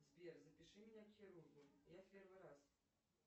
сбер запиши меня к хирургу я в первый раз